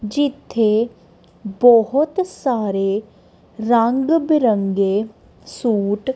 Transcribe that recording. ਜਿੱਥੇ ਬਹੁਤ ਸਾਰੇ ਰੰਗ ਬਿਰੰਗੇ ਸੂਟ --